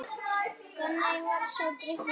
Þannig varð sá drykkur til.